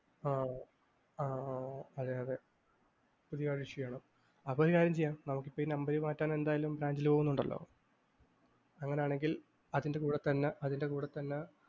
ആഹ് ആഹ് അഹ് അതെയതെ പുതിയ കാർഡ് issue ചെയ്യണം. അപ്പൊ ഒരു കാര്യം ചെയ്യാം. നമുക്കിപ്പൊ ഈ number മാറ്റാൻ എന്തായാലും ബാങ്കിൽ പോകുന്നുണ്ടല്ലോ. അങ്ങനാണെങ്കിൽ അതിന്റെ കൂടെത്തന്നെ